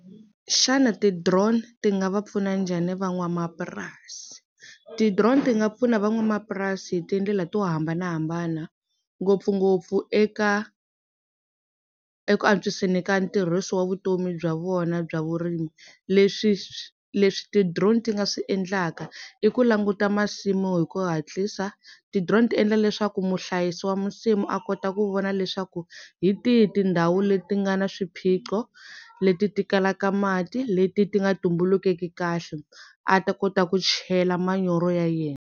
Xana ti-drone ti nga va pfuna njhani van'wamapurasi? Ti-drone ti nga pfuna van'wamapurasi hi tindlela to hambanahambana ngopfungopfu eka eku antswiseni ka ntirhiso wa vutomi bya vona bya vurimi leswi leswi ti-drone ti nga swi endlaka i ku languta masimu hi ku hatlisa, ti-drone ti endla leswaku muhlayisi wa nsimu a kota ku vona leswaku hi tihi tindhawu leti nga na swiphiqo leti ti kalaka mati leti ti nga tumbulukeki kahle a ta kota ku chela manyoro ya yena.